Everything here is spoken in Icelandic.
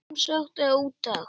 Sem sekt eða úttekt?